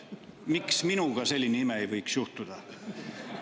Miks minuga siis selline ime ei võiks juhtuda?